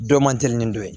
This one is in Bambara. Dɔ man teli ni dɔ ye